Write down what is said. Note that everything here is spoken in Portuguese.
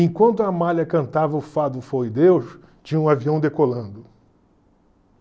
Enquanto Amália cantava o fado Foi Deus, tinha um avião decolando.